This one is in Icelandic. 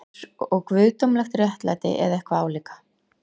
Einsog guðdómlegt réttlæti, eða eitthvað álíka.